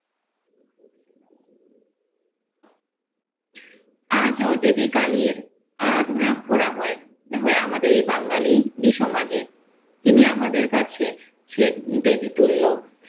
আজো দেবী কালির আরাধনা করা হয় হয় আমাদের এই বাঙালি ই সমাজে, তিনি আমাদের কাছে চে দেবী তুল্য।